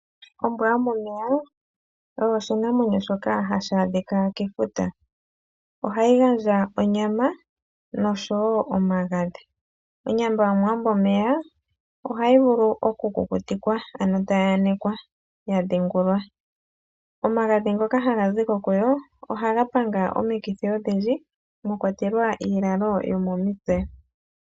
Ombwa yomomeya oyo shinamwenyo shoka hashi adhika kefuta. Ohayi gandja onyama noshowo omagadhi. Onyama yombwa yomomeya, ohayi vulu okukutikwa ano tayi anekwa ya dhingulwa. Omagadhi ngoka haga ziko kuyo ohaga panga omikithi odhindji mwa kwatelwa iilalo yomomitse.